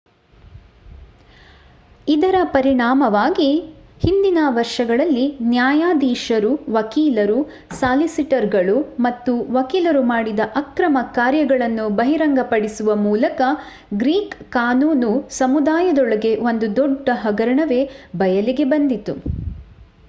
ಇದರ ಪರಿಣಾಮವಾಗಿ ಹಿಂದಿನ ವರ್ಷಗಳಲ್ಲಿ ನ್ಯಾಯಾಧೀಶರು ವಕೀಲರು ಸಾಲಿಸಿಟರ್‌ಗಳು ಮತ್ತು ವಕೀಲರು ಮಾಡಿದ ಅಕ್ರಮ ಕಾರ್ಯಗಳನ್ನು ಬಹಿರಂಗಪಡಿಸುವ ಮೂಲಕ ಗ್ರೀಕ್ ಕಾನೂನು ಸಮುದಾಯದೊಳಗೆ ಒಂದು ದೊಡ್ಡ ಹಗರಣವೇ ಬಯಲಿಗೆ ಬಂದಿತು